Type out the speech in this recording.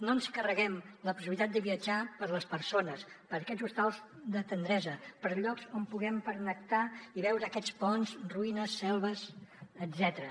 no ens carreguem la possibilitat de viatjar per a les persones per aquests hostals de tendresa per llocs on puguem pernoctar i veure aquests ponts ruïnes selves etcètera